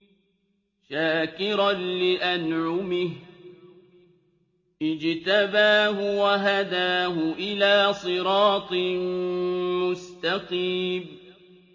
شَاكِرًا لِّأَنْعُمِهِ ۚ اجْتَبَاهُ وَهَدَاهُ إِلَىٰ صِرَاطٍ مُّسْتَقِيمٍ